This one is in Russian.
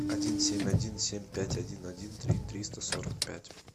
один семь один семь пять один один три триста сорок пять